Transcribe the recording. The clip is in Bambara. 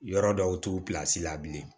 Yɔrɔ dɔw t'u la bilen